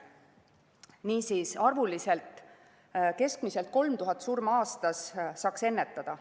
Niisiis, keskmiselt 3000 surma aastas saaks ennetada.